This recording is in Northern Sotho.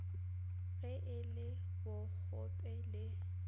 ge e le bokgope le